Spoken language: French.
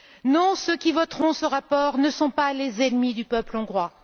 Non, ceux qui voteront ce rapport ne sont pas les ennemis du peuple hongrois.